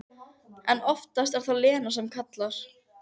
En oftast er það Lena sem kallar.